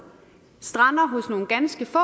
strander hos nogle ganske få